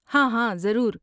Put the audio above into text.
ہاں ہاں، ضرور۔